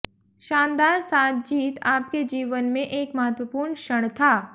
शानदार सात जीत आपके जीवन में एक महत्वपूर्ण क्षण था